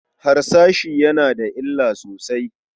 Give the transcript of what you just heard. Harsashi yana da illa sosai.